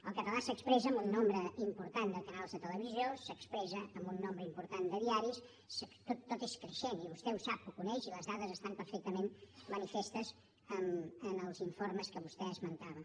el català s’expressa en un nombre important de canals de televisió s’expressa en un nombre important de diaris tot és creixent i vostè ho sap ho coneix i les dades estan perfectament manifestes en els informes que vostè esmentava